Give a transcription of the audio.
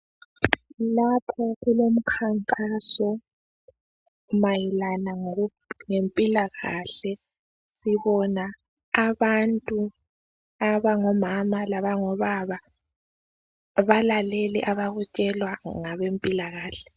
Lapho okulamkhankaso mayelana lempilakahle .Sibona abantu abangomama labango baba balalele abakutshelwa ngabe mpilakahle.